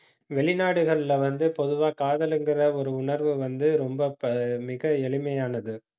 வெளிநாடுகள்ல வந்து, பொதுவா காதல்ங்கிற ஒரு உணர்வு வந்து, ரொம்ப ப~ மிக எளிமையானது